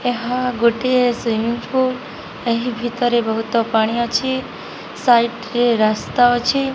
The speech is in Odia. ଏହା ଗୋଟିଏ ସ୍ଵିମ୍ମିଂ ପୂଲ୍। ଏହି ଭିତରେ ବହୁତ୍ ପାଣି ଅଛି। ସାଇଟରେ ରାସ୍ତା ଅଛି।